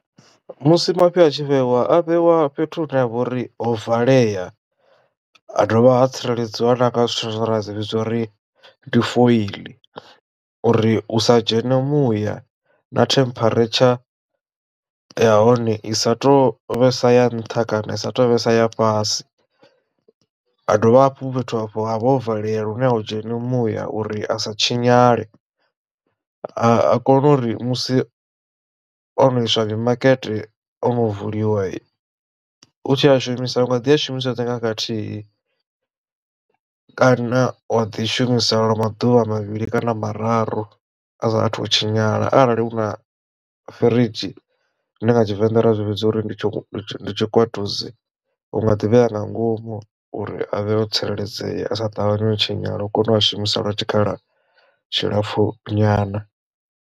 Musi mafhi a tshi vhewa a vhewa fhethu hune ha vha uri ho valea ha dovha ha tsireledziwa na nga zwithu zwine ra dzi vhidza uri ndi foili uri hu sa dzhene muya na temperature ya hone i sa tu vhesa ya nṱha kana isa tovhesa ya fhasi. Ha dovha hafhu fhethu hafho ha vha ho valelea lune ho dzheni muya uri a sa tshinyale ha kone uri musi ono iswa mimakete ono vuliwa hu tshi a shumisa u nga ḓi a shumisa oṱhe nga khakhathi kana wa ḓi shumisela lwa maḓuvha mavhili kana mararu a sa athu u tshinyala arali hu na firidzhi zwine nga tshivenḓa ra zwi vhidza uri ndi tshi tshikwatudzi unga ḓivhea nga ngomu uri avhe o tsireledzea a sa ṱavhanye u tshinyala u kone u a shumisa lwa tshikhala tshilapfu nyana.